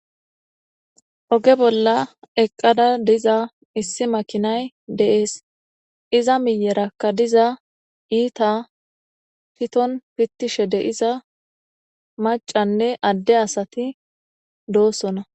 Oge bolla eqqada diza issi makinay de'es iza miyyeraka diza iita piton pittishe de'iza maccanne adde asati doosona.